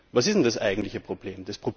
Was ist denn das eigentliche Problem?